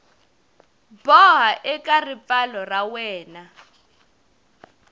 boha eka ripfalo ra wena